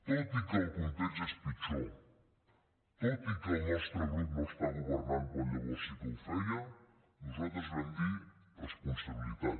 tot i que el context és pitjor tot i que el nostre grup no està governant quan llavors sí que ho feia nosaltres vam dir responsabilitat